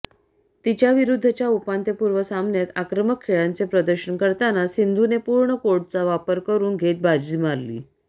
तिच्याविरुध्दच्या उपांत्यपूर्व सामन्यात आक्रमक खेळाचे प्रदर्शन करताना सिंधूने पूर्ण कोर्टचा वापर करुन घेत बाजी मारली